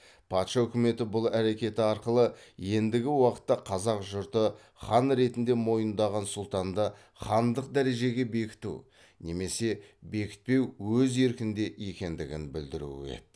патша үкіметі бұл әрекеті арқылы ендігі уақытта қазақ жұрты хан ретінде мойындаған сұлтанды хандық дәрежеге бекіту немесе бекітпеу өз еркінде екендігін білдіруі еді